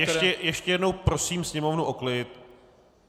Ještě jednou prosím Sněmovnu o klid!